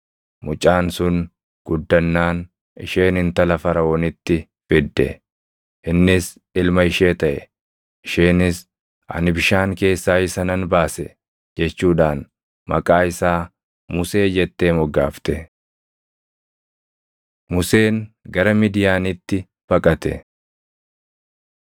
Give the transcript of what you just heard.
Mucaan sun guddannaan isheen intala Faraʼoonitti fidde. Innis ilma ishee taʼe. Isheenis, “Ani bishaan keessaa isa nan baase” jechuudhaan maqaa isaa Musee jettee moggaafte. Museen Gara Midiyaanitti baqate